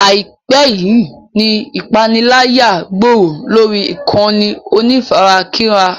Àìpẹ́ yíì ni ìpániláyà gbòòrò lórí ìkànnì onífarakínra.